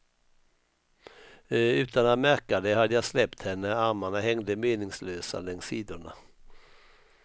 Utan att märka det hade jag släppt henne, armarna hängde meningslösa längs sidorna.